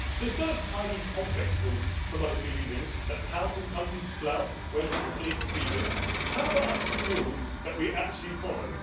So, instead of highly complex rules for monetary union that powerful countries flout when politically expedient, how about a few rules that we actually follow?